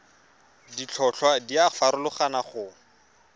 ditlhotlhwa di a farologana go